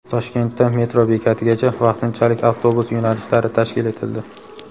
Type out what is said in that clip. Toshkentda metro bekatigacha vaqtinchalik avtobus yo‘nalishlari tashkil etildi.